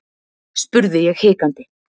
spurði ég hikandi.